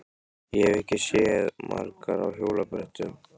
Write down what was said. Ég hef ekki séð margar á hjólabrettum.